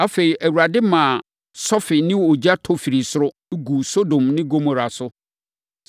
Afei, Awurade maa sɔfe ne ogya tɔ firii soro, guu Sodom ne Gomora so.